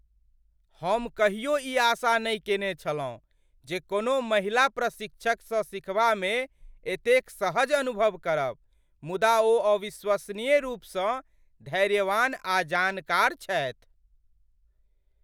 हम कहियो ई आशा नहि केने छलहुँ जे कोनो महिला प्रशिक्षकसँ सिखबामे एतेक सहज अनुभव करब, मुदा ओ अविश्वसनीय रूपसँ धैर्यवान आ जानकार छथि।